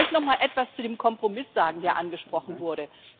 Ich möchte nochmal etwas zu dem Kompromiss sagen, der angesprochen wurde.